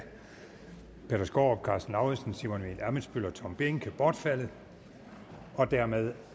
peter skaarup karsten lauritzen simon emil ammitzbøll og tom behnke bortfaldet dermed